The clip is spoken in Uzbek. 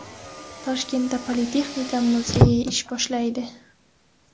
Toshkentda Politexnika muzeyi ish boshlaydi.